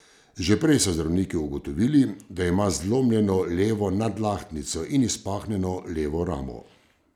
Že prej so zdravniki ugotovili, da ima zlomljeno levo nadlahtnico in izpahnjeno levo ramo.